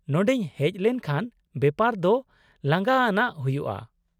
-ᱱᱚᱰᱮᱧ ᱦᱮᱪ ᱞᱮᱱᱠᱷᱟᱱ ᱵᱮᱯᱟᱨ ᱫᱚ ᱞᱟᱸᱜᱟ ᱟᱱᱟᱜ ᱦᱩᱭᱩᱜᱼᱟ ᱾